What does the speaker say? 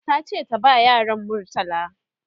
tace ta ba yaran murtala